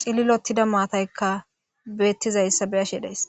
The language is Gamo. cililottida maataykka beettizayssa beashe days